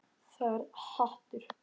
Þetta er hatur.